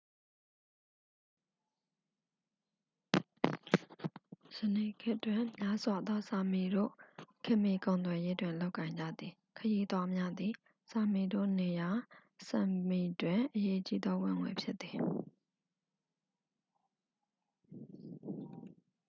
ယနေ့ခေတ်တွင် များစွာ‌သော sámiတို့ ခေတ်မှီ ကုန်သွယ်ရေးတွင် လုပ်ကိုင်ကြသည်။ ခရီးသွားများသည် sámiတို့နေရာ sápmiတွင် အရေးကြီးသော ဝင်ငွေဖြစ်သည်။